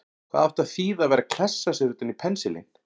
Hvað átti að þýða að vera að klessa sér utan í pensilinn!